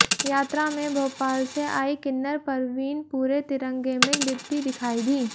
यात्रा में भोपाल से आई किन्नर परवीन पूरे तिरंगे में लिपटी दिखाई दी